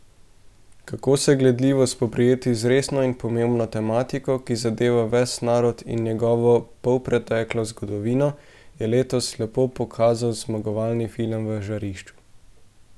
Kako se gledljivo spoprijeti z resno in pomembno tematiko, ki zadeva ves narod in njegovo polpreteklo zgodovino, je letos lepo pokazal zmagovalni film V žarišču.